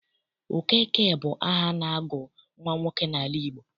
Okeke bụ aha a na-agụ nwa nwoke n'ala Igbo.